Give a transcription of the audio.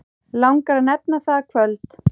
Langar að nefna það kvöld.